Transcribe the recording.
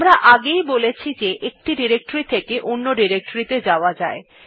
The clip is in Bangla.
আমরা আগেই বলেছি যে আমরা একটি ডিরেক্টরী থেকে অন্য ত়ে যেতে পারি